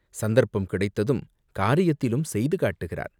சந்தர்ப்பம் கிடைத்ததும் காரியத்திலும் செய்து காட்டுகிறார்.